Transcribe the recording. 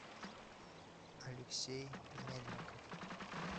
алексей мельников